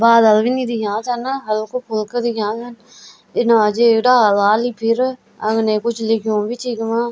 बादल भी नि दिखेना छन हल्कु फुल्कु दिखेना छन इना जेक डाल ह्वाल फिर अग्ने कुछ लिख्यू भी च इखमा।